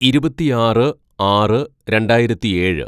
"ഇരുപത്തിയാറ് ആറ് രണ്ടായിരത്തിയേഴ്‌